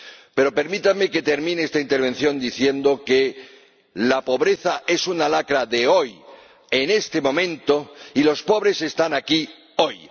Pero permítanme que termine esta intervención diciendo que la pobreza es una lacra de hoy, en este momento, y los pobres están aquí hoy.